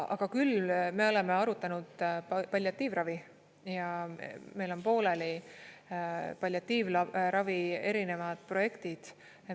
Aga küll me oleme arutanud palliatiivravi ja meil on pooleli palliatiivravi erinevad projektid.